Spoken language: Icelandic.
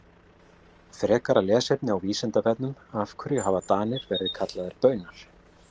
Frekara lesefni á Vísindavefnum Af hverju hafa Danir verið kallaðir Baunar?